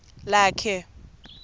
lakhe